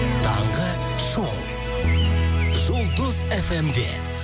таңғы шоу жұлдыз фм де